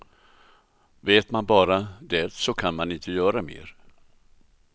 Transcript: Vet man bara det så kan man inte göra mer.